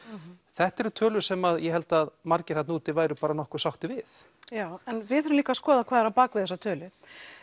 þetta eru tölur sem ég held að margir þarna úti væru nokkuð sáttir við já en við þurfum líka að skoða hvað er á bak við þessar tölur